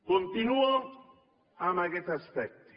continuo amb aquest aspecte